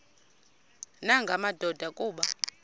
nanga madoda kuba